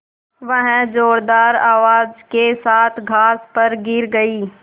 वह ज़ोरदार आवाज़ के साथ घास पर गिर गई